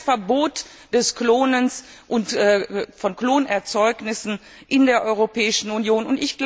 Ich will ein Verbot des Klonens und von Klonerzeugnissen in der Europäischen Union.